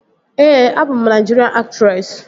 Ee, abụ m Naịjirian aktresị